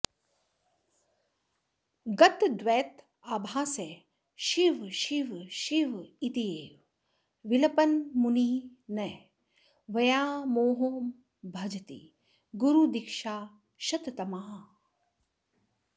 गतद्वैताभासः शिव शिव शिवेत्येव विलपन् मुनिर्न व्यामोहं भजति गुरुदीक्षाक्षततमाः